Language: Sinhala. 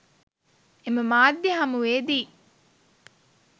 එම මාධ්‍ය හමුවේදී